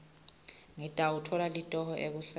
ngitawutfola litoho ekuseni